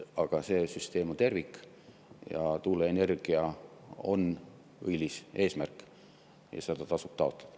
Aga see süsteem on tervik, tuuleenergia on õilis eesmärk ja seda tasub taotleda.